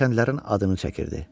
Kəndlərin adını çəkirdi.